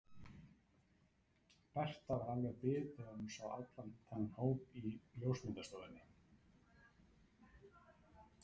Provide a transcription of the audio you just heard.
Berta var alveg bit þegar hún sá allan þennan hóp í ljósmyndastofunni.